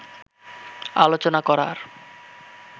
আলোচনা করার